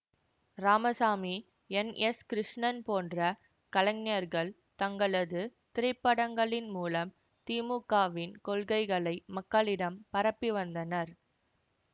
Ramasamy N S Krishnan போன்ற கலைஞர்கள் தங்களது திரைப்படங்களின் மூலம் திமுகவின் கொள்கைகளை மக்களிடம் பரப்பி வந்தனர்